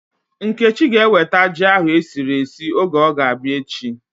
Nkechi ga eweta ji ahu esiri esi oge ọ ga-abịa echi